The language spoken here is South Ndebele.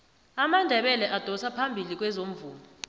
amandebele adosa phambili kwezomvumo